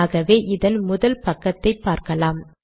ஆகவே இதன் முதல் பக்கத்தை பார்க்கலாம்